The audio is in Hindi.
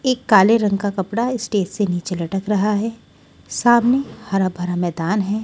एक काले रंग का कपड़ा स्टेज से नीचे लटक रहा है सामने हरा भरा मैदान है।